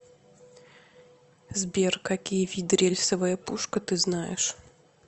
сбер какие виды рельсовая пушка ты знаешь